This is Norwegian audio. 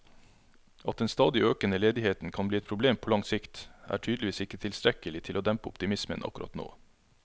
At den stadig økende ledigheten kan bli et problem på lang sikt, er tydeligvis ikke tilstrekkelig til å dempe optimismen akkurat nå.